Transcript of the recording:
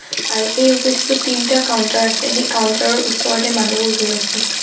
আৰু এই অ'ফিচ টোত তিনিটা কাউন্টাৰ আছে সেই কাউন্টাৰ ৰ ওচৰতে মানুহবোৰ ৰৈ আছে।